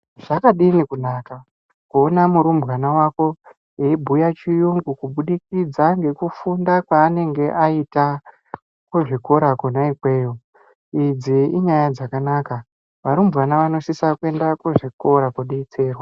Zvakadini kunaka kuona murumbwana wako eibhuya chiyungu kubudikidza ngekufunda kwaanenge aita kuzvikora kwona ikweyo idzi inyaya dzakanaka varumbwana vanosisa kuenda kuzvikora kodetserwa.